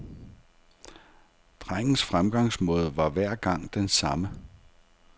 Drengens fremgangsmåde var hver gang den samme.